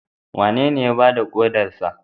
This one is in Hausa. Wanene ya ba da kodarsa?